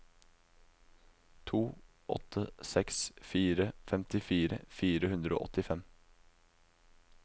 to åtte seks fire femtifire fire hundre og åttifem